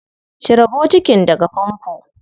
Cire bokitin daga famfo.